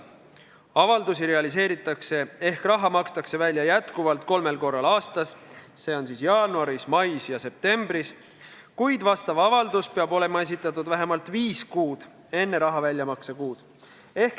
Avaldusi realiseeritakse ehk raha makstakse välja jätkuvalt kolmel korral aastas, see on siis jaanuaris, mais ja septembris, kuid vastav avaldus peab olema esitatud vähemalt viis kuud enne raha väljamakse kuud.